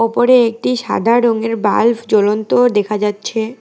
উপরে একটি সাদা রঙের বাল্ব জ্বলন্ত দেখা যাচ্ছে।